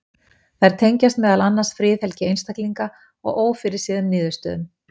Þær tengjast meðal annars friðhelgi einstaklinga og ófyrirséðum niðurstöðum.